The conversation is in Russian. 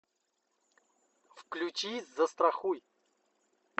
включи застрахуй